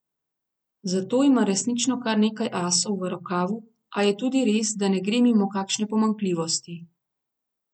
Za to ima resnično kar nekaj asov v rokavu, a je tudi res, da ne gre mimo kakšne pomanjkljivosti.